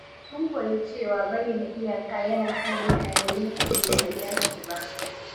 Sun koyi cewa bayyana iyaka yana hana mutane yin abin da bai dace ba.